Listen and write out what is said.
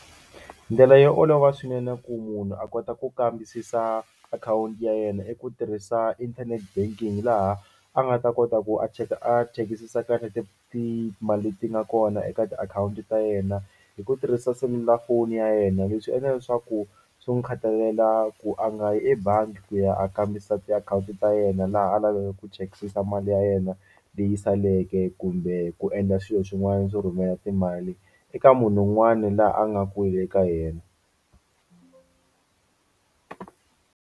Ndlela yo olova swinene ku munhu a kota ku kambisisa akhawunti ya yena i ku tirhisa internet banking laha a nga ta kota ku a cheka a chekisisa kahle timali leti nga kona eka tiakhawunti ta yena hi ku tirhisa selulafoni ya yena. Leswi endla leswaku swi n'wi khatalela ku a nga yi ebangi ku ya a kambisisa tiakhawunti ta yena laha a lavaka ku chekisisa mali ya yena leyi saleke kumbe ku endla swilo swin'wana swo rhumela timali eka munhu un'wani laha a nga kule eka yena.